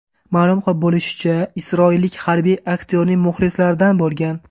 Ma’lum bo‘lishicha, isroillik harbiy aktyorning muxlislaridan bo‘lgan.